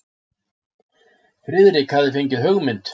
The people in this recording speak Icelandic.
Friðrik hafði fengið hugmynd.